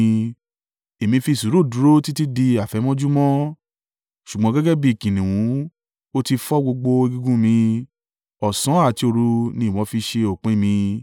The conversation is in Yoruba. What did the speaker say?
Èmi fi sùúrù dúró títí di àfẹ̀mọ́júmọ́, ṣùgbọ́n gẹ́gẹ́ bí kìnnìún ó ti fọ́ gbogbo egungun mi; ọ̀sán àti òru ni ìwọ fi ṣe òpin mi.